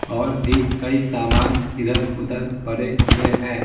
और भी कई सामान इधर-उधर पड़े हुए हैं।